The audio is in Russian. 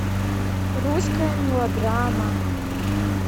русская мелодрама